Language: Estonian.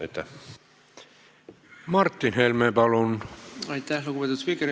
Aitäh, lugupeetud spiiker!